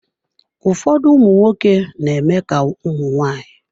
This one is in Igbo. Ụfọdụ ụmụnwoke na-eme ka ụmụ nwaanyị.